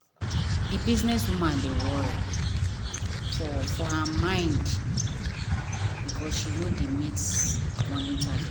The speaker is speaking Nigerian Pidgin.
the business woman dey worry for for her mind because she no dey meet money target.